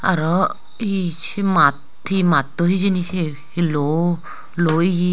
aro iye se maat he maatto hijeni se he luo luo iye.